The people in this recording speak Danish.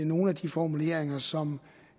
nogle af de formuleringer som